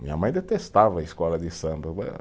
Minha mãe detestava a escola de samba.